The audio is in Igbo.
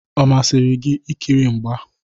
Ọ masịrị gị ikiri mgba?